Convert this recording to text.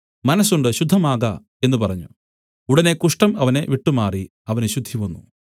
മനസ്സുണ്ട് ശുദ്ധമാക എന്നു പറഞ്ഞു ഉടനെ കുഷ്ഠം അവനെ വിട്ടുമാറി അവന് ശുദ്ധിവന്നു